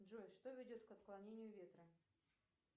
джой что ведет к отклонению ветра